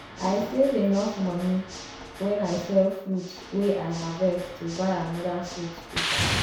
i save enof moni wen i sell fruit wey i harvest to buy anoda fruit pika